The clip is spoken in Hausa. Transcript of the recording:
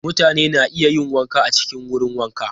Mutane na iya yin wanka a cikin wurin wanka.